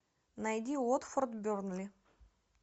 найди уотфорд бернли